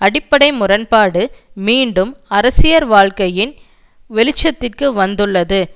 அடிப்படை முரண்பாடு மீண்டும் அரசியர் வாழ்க்கையின் வெளிச்சத்திற்கு வந்துள்ளது